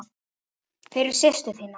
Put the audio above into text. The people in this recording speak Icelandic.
Fyrir systur þína.